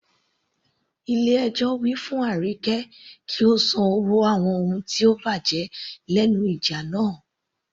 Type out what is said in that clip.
Ilé ẹjọ́ wí fún Arike kí ó san owó àwọn ohun tó bàjẹ́ lẹ́nu ìjà náà.